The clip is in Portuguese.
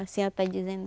Assim até dizendo.